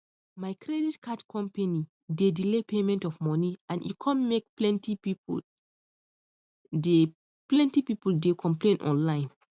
my credit card company dey delay payment of money and e come make plenty people dey people dey complain online